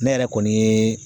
Ne yɛrɛ kɔni ye